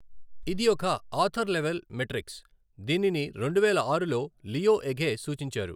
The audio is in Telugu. ఇది ఒక ఆథర్ లెవెల్ మెట్రిక్స్. దీనిని రెండువేల ఆరులో లియో ఎఘే సూచించారు.